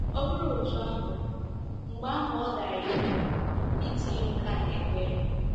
Ọ bụrụ otú ahụ, mgbe ahụ ọ dị anyị mkpa itinye nke a n’ekpere.